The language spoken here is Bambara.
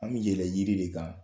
An mi yɛlɛn yiri de kan